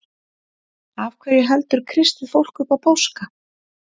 Af hverju heldur kristið fólk upp á páska?